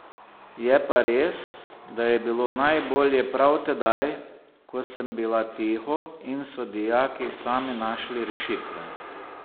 Je pa res, da je bilo najbolje prav tedaj, ko sem bila tiho in so dijaki sami našli rešitve.